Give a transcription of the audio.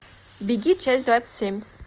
беги часть двадцать семь